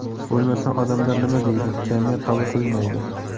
Bo‘lmasa, odamlar nima deydi, jamiyat qabul qilmaydi.